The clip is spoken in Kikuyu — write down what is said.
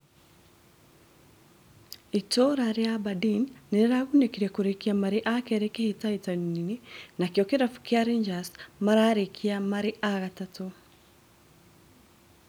Itũũra rĩa Aberdeen nĩrĩragunĩkire kũrikia marĩ akeri hĩtahĩtano-inĩ nakĩo kĩrabu kĩa Rangers mararĩkia marĩ agatatũ